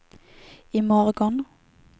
imorgon